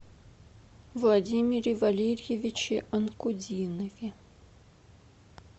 владимире валерьевиче анкудинове